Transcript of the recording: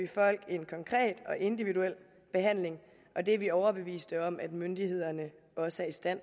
folk en konkret og individuel behandling og det er vi overbeviste om at myndighederne også er i stand